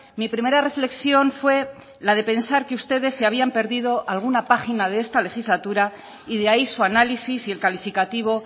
mi primera reflexión fue la de pensar que ustedes se habían perdido alguna página de esta legislatura y de ahí su análisis y el calificativo